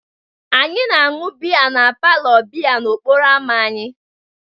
Anyị na-aṅụ biya na palour biya n'okporo ámá anyị.